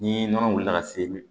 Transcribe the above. Ni nɔnɔ wuli ka se